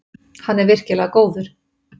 Hann er virkilega góður